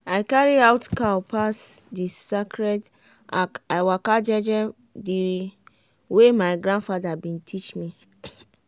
i carry out cow pass the sacred arch i waka jeje the way my grandfather been teach me.